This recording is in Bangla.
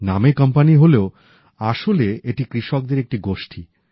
নামে কোম্পানি হলেও আসলে এটি কৃষকদের একটি গোষ্ঠী